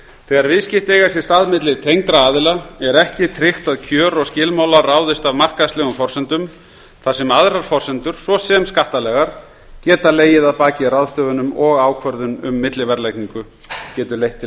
þegar viðskipti eiga sér stað milli tengdra aðila er ekki tryggt að kjör og skilmálar ráðist af markaðslegum forsendum þar sem aðrar forsendur svo sem skattalegar geta staðið að baki ráðstöfunum og ákvörðun um milliverðlagningu getur leitt til